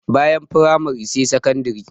Bayan firamare sai sakandire.